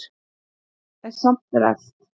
En samt er elt.